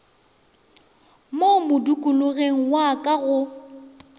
mo modikologeng wa ka go